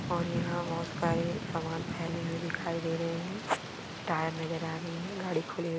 और यहाँ बहुत सारे सामान फैले हुए दिखाई दे रहे है। टायर नजर आ रहे है और गाडी खुली हुई--